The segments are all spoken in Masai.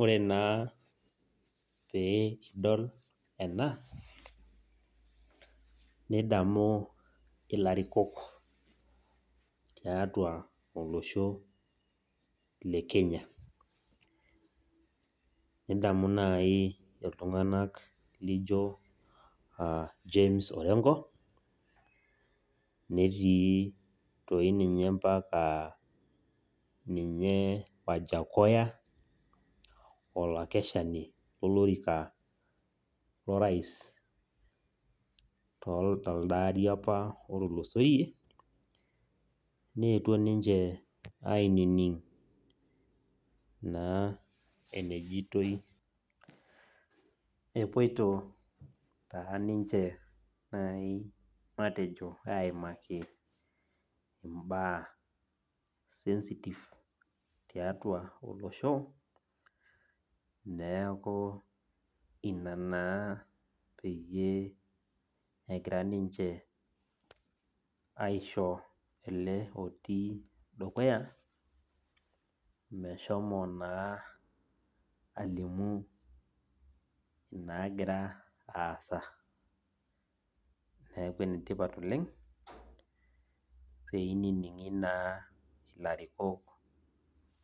Ore naa pee idol ena, nidamu ilarikok tiatua olosho le Kenya. Nidamu nai iltung'anak lijo James Orenko, netii toi ninye mpaka ninye Wajakoya, olakeshani lolorika lorais toldaari apa otulusoyie, neetuo ninche ainining' naa enejitoi, epoito taa ninche nai matejo aimaki imbaa sensitive tiatua olosho, neeku ina naa peyie egira ninche aisho ele otii dukuya, meshomo naa alimu inaagira aasa. Neeku enetipat oleng, peinining'i naa ilarikok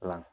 lang'.